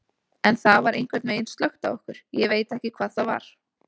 En það var einhvern veginn slökkt á okkur, ég veit ekki hvað það var.